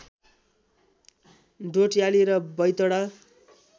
डोट्याली र बैतडा